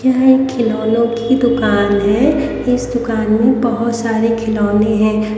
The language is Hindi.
यह एक खिलौने की दुकान है इस दुकान में बहोत सारे खिलौने हैं।